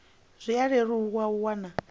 zwi a leluwa u wana